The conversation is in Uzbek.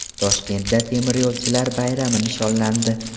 Toshkentda temiryo‘lchilar bayrami nishonlandi.